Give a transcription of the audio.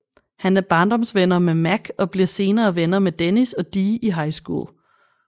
Han er barndomsvenner med Mac og bliver senere venner med Dennis og Dee i high school